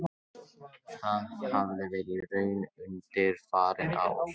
Það hafi verið raunin undanfarin ár